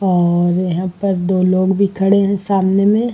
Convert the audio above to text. और यहाँ पर दो लोग भी खड़े हैं सामने में।